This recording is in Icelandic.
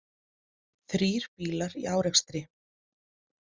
Þrír bílar í árekstri